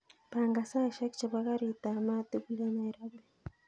Pangan saishek chebo garit ab maat tugul en nairobi